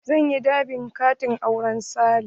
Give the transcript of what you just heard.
Zan yi dab'in katin auren Sale.